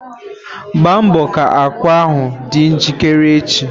Gba mbọ ka ákwà ahụ dị njikere echi!